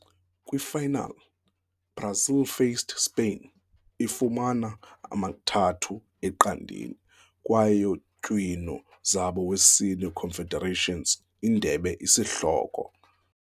Kwi final, Brazil faced Spain, ifumana 3-0 kwaye tywino zabo wesine Confederations Indebe isihloko.